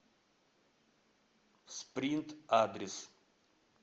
спринт адрес